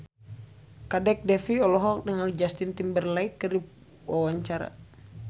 Kadek Devi olohok ningali Justin Timberlake keur diwawancara